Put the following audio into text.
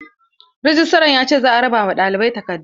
Rejistran ya ce za a raba ma ɗalibai takardu.